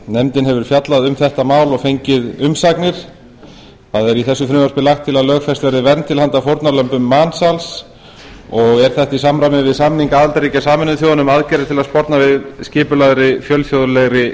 nefndin hefur fjallað um þetta mál og fengið umsagnir í frumvarpinu er lagt til að lögfest verði vernd til handa fórnarlömbum mansals þetta er í samræmi við samning aðildarríkja sameinuðu þjóðanna um aðgerðir til að sporna við skipulagðri fjölþjóðlegri